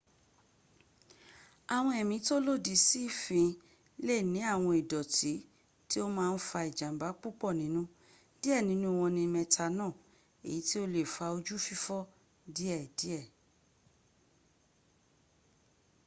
àwọn ẹ̀mí tó lòdì sí fin le ni awon idooti ti o ma n fa ijamba pupo ninu die ninu won ni methanol èyí tí ò le fa ojú fífọ́ díẹ díẹ̀